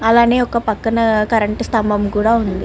అలాగే ఒక పక్కన కరెంట్ స్తంభం కూడా ఉన్నది.